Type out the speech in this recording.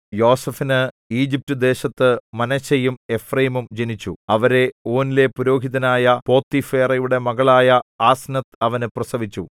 യോസേഫിന് ഈജിപ്റ്റുദേശത്തു മനശ്ശെയും എഫ്രയീമും ജനിച്ചു അവരെ ഓനിലെ പുരോഹിതനായ പോത്തിഫേറയുടെ മകളായ ആസ്നത്ത് അവന് പ്രസവിച്ചു